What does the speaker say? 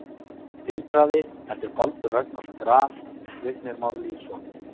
Vindhraði eftir Baldur Ragnarsson Graf: Vignir Már Lýðsson